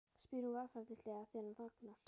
spyr hún varfærnislega þegar hann þagnar.